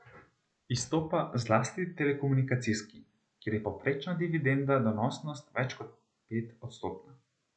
Izstopa zlasti telekomunikacijski, kjer je povprečna dividendna donosnost več kot petodstotna.